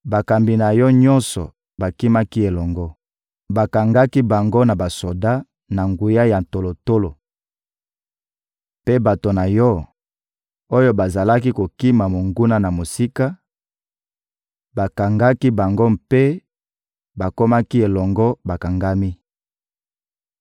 Bakambi na yo nyonso bakimaki elongo; bakangaki bango na basoda na nguya ya tolotolo. Mpe bato na yo, oyo bazalaki kokima monguna na mosika, bakangaki bango mpe bakomaki elongo bakangami.